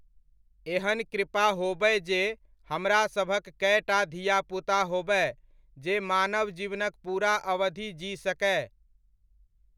एहन कृपा होबय जे हमरासभक कएटा धियापुता होबय जे मानव जीवनक पूरा अवधि जी सकय।